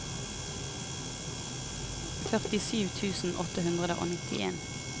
førtisju tusen åtte hundre og nittien